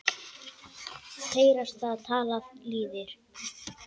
Heyrast það tala lýðir.